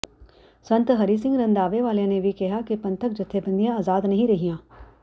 ਸੰਤ ਹਰੀ ਸਿੰਘ ਰੰਧਾਵੇ ਵਾਲਿਆਂ ਨੇ ਵੀ ਕਿਹਾ ਕਿ ਪੰਥਕ ਜਥੇਬੰਦੀਆਂ ਆਜ਼ਾਦ ਨਹੀਂ ਰਹੀਆਂ